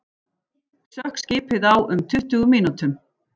Sökk skipið á um tuttugu mínútum